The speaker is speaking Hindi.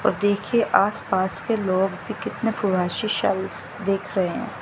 और देखिए आसपास के लोग भी कितने देख रहे हैं।